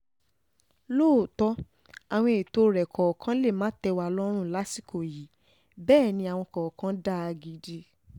lóòótọ́ àwọn ètò rẹ̀ kọ̀ọ̀kan lè um má tẹ́ wa lọ́rùn lásìkò yìí bẹ́ẹ̀ ni àwọn kọ̀ọ̀kan dáa um gidi